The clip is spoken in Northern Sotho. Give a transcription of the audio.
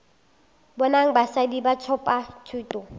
bonang basadi ba thopa thuto